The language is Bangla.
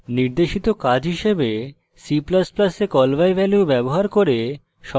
নির্দেশিত কাজ হিসাবে c ++ a call by value ব্যবহার cube সংখ্যার ঘনফল নিরুপন করতে